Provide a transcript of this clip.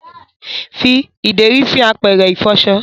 fí ideri sí àpẹrẹ ifọṣọ